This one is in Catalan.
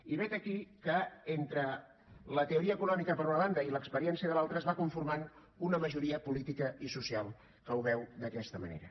i vet aquí que entre la teoria econòmica per una banda i l’experiència de l’altra es va conformant una majoria política i social que ho veu d’aquesta manera